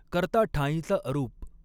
कर्ता ठांईचा अरूप।